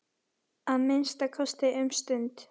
Að minnsta kosti um stund.